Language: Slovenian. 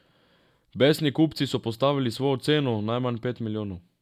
Besni kupci so postavili svojo ceno, najmanj pet milijonov.